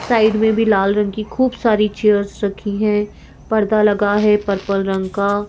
side में भी लाल रंग की खूब सारी चेयर्स रखी हैं पर्दा लगा है पर्पल रंग का --